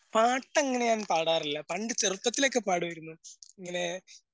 പാട്ടങ്ങനെ ഞാൻ പാടാറില്ല പണ്ട് ചെറുപ്പത്തിലൊക്കെ പാടുമായിരുന്നു. ഇങ്ങനെ